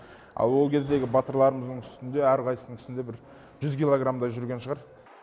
ал ол кездегі батырларымыздың үстінде әрқайсысының үстінде бір жүз килограмдай жүрген шығар